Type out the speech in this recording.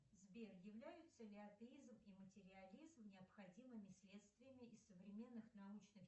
сбер являются ли атеизм и материализм необходимыми следствиями из современных научных